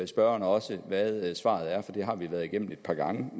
spørgeren også hvad svaret er for det har vi været igennem et par gange